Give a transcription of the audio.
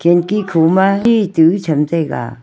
tanki khuma tu cham taiga.